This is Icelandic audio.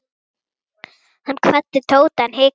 Hann kvaddi Tóta en hikaði.